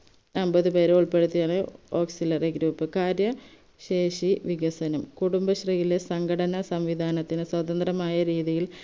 അമ്പതുപേരെ ഉൾപ്പെടുത്തിയ auxiliary group കാര്യശേഷി വികസനം കുടുംബശ്രീയിലെ സംഘടനാസംവിദാനത്തിന് സ്വാതന്ത്ര്യമായ രീതിയിൽ